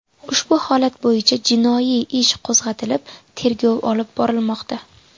Ushbu holat bo‘yicha jinoiy ish qo‘zg‘atilib, tergov olib borilmoqda.